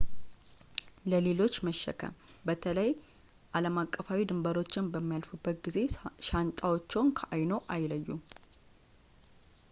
ለሌሎች መሸከም በተለይ ዓለምአቀፋዊ ድንበሮችን በሚያልፉበት ጊዜ ሻንጣዎችዎን ከዓይንዎ አይለዩ